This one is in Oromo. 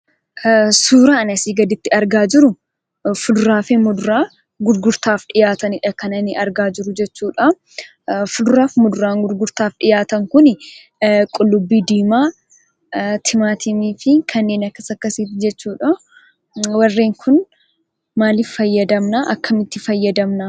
Suuraan asii gaditti argaa jiru fuduraa fi muduraa gurgurtaaf dhiyaatanidha kan ani argaa jiru jechuudha. Fuduraafi muduraan gurgurtaaf dhiyaatan kuni qullubbii diimaa timaatimii fi kanneen akkas akksiiti jechuudha. Warreen kun maalif fayyadamna? akkamitti fayyadamna?